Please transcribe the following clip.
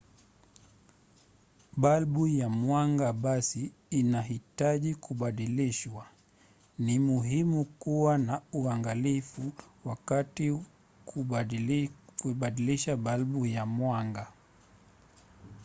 balbu ya mwanga basi inahitaji kubadilishwa. ni muhimu kuwa na uangalifu wakati wa kuibadilisha balbu ya mwanga